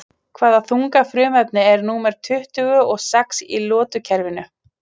Hvaða þunga frumefni er númer tuttugu og sex í lotukerfinu?